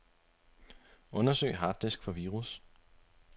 Undersøg harddisk for virus.